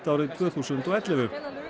árið tvö þúsund og ellefu